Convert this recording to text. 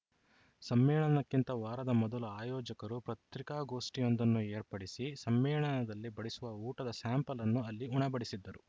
ಸಮ್ಮೇಳನಕ್ಕಿಂತ ವಾರದ ಮೊದಲು ಆಯೋಜಕರು ಪತ್ರಿಕಾಗೋಷ್ಠಿಯೊಂದನ್ನು ಏರ್ಪಡಿಸಿ ಸಮ್ಮೇಳನದಲ್ಲಿ ಬಡಿಸುವ ಊಟದ ಸ್ಯಾಂಪಲ್‌ ಅನ್ನು ಅಲ್ಲಿ ಉಣಬಡಿಸಿದ್ದರು